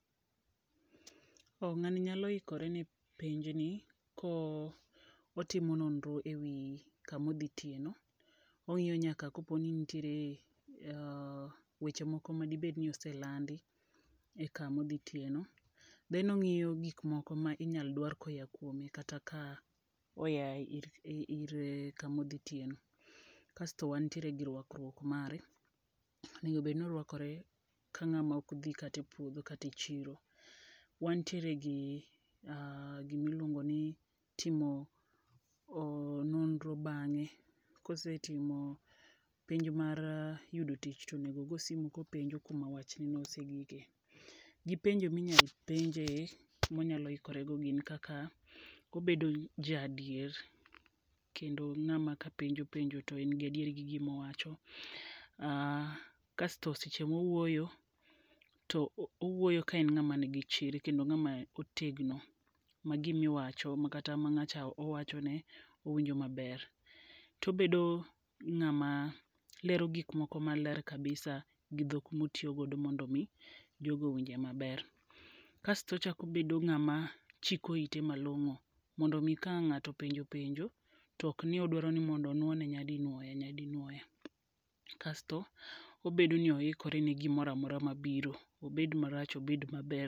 Ng'ani nyalo ikore ne penj ni ko otimo nonro e wi kamo dho tiye no. Ong'iyo nyaka kapo ni nitiere weche moko madi bed ni oselandi e kama odhi tiye no. Then ong'iyo gik moko ma inyal dwar ko ya kuome kata ka oya ir kamodhitiye no. Kasto wantiere gi rwakruok mare. Onego bed ni orwakore ka ng'ama ok dhi kata e puodho kata e chiro. Wantiere gi gimiluongo ni timo nonro bang'e. Kosetimo penj ma yudo tich to onego go simo kopenjo kuma wachno osegike gi penjo minya penje monyalo ikorego gik kaka kobedo ja adier kendo ng'ama kapenjo penjo to en gi adieri gi gima owacho. Kasto seche mowuoyo to owuoyo ka en ng'ama ni gi chir kendo en ngama otegno ma gimiwacho makata ma ng'acha owachone owinjo maber. Tobedo ng'ama lero gik moko maler kabisa gi dhok motiyogodo mondo mi jogo owinje maber. Kasto ochako bedo ng'ama chiko ite malon'go mondo mi ka an ng'ato openjo penjo tok ni odwaro ni mondo onuo ne nyadi nuoya. Kasto obedo ni oikore ne gimoro amora mabiro. Obed marach obed maber.